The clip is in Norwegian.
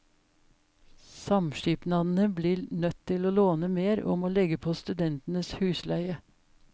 Samskipnadene blir nødt til å låne mer og må legge på studentenes husleie.